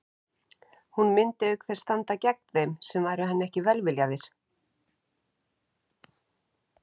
Hún myndi auk þess standa gegn þeim sem væru henni ekki velviljaðir.